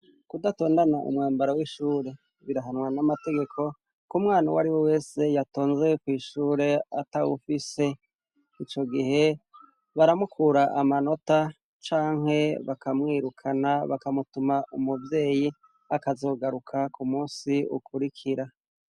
Kudatondana umwambara w'ishure birahanwa n'amategeko koumwana uw ari we wese yatonzewekw'ishure ata wufise ico gihe baramukura amanota canke bakamwirukana bakamutuma umuvyeyi akazogaruka ku musi ukurikira.